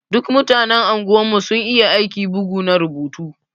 Duk mutanen unguwan mu sun iya aiki bugu na rubutu.